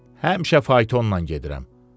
Həmişə faytonla gedirəm.